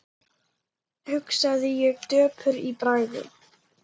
hugsaði ég döpur í bragði.